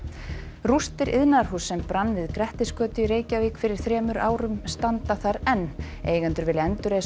rústir iðnaðarhúss sem brann við Grettisgötu í Reykjavík fyrir rúmum þremur árum standa þar enn eigendur vilja endurreisa